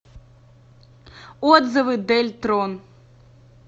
отзывы дельтрон